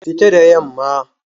Fita da yamma!